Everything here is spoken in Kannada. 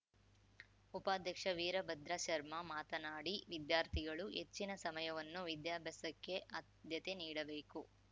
ಉಪಾಧ್ಯಕ್ಷ ವೀರಭದ್ರ ಶರ್ಮಾ ಮಾತನಾಡಿ ವಿದ್ಯಾರ್ಥಿಗಳು ಹೆಚ್ಚಿನ ಸಮಯವನ್ನು ವಿದ್ಯಾಭ್ಯಾಸಕ್ಕೆ ಆದ್ಯತೆ ನೀಡಬೇಕು